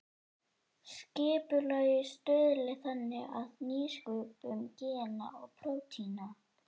Skipulagið stuðli þannig að nýsköpun gena og prótína.